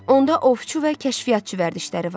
Onda ovçu və kəşfiyyatçı vərdişləri var.